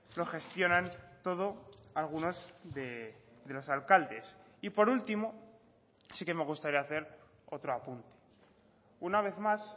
lo gestionan todo algunos de los alcaldes y por último sí que me gustaría hacer otro apunte una vez más